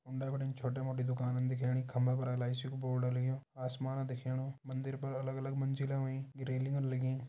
उंडे बिटिन छोटी मोट्टी दुकाना दिखेणी खम्बा पर एल.आई.सी कु बोर्ड लग्युं आसमान दिखेणु मंदिर पर अलग अलग मंजिला हुईं रेलिंग लगीं।